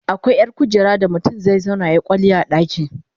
akwai ƴar kujera da mutum zai zauna yayi kwalliya a ɗaki